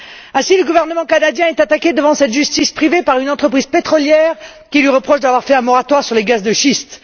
Ainsi, le gouvernement canadien est attaqué devant cette justice privée par une entreprise pétrolière qui lui reproche d'avoir fait un moratoire sur les gaz de schiste.